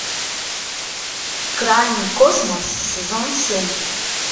крайний космос сезон семь